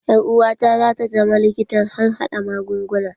Ƴar uwata za ta zama likitan harhaɗa magunguna.